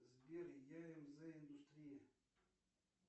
сбер ямз индустрия